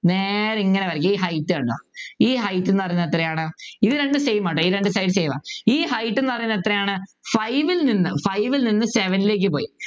നേരെ ഇങ്ങനെ വരയ്ക്കുക ഈ Height കണ്ടോ ഈ Height എന്ന് പറഞ്ഞാൽ എത്രയാണ് ഇത് രണ്ടും Same ആണ് കേട്ടോ ഈ രണ്ടു Side ഉം Same ആ ഈ Height എന്ന് പറയുന്നത് എത്രയാണ് five ൽ നിന്ന് five ൽ നിന്ന് seven ലേക്ക് പോയി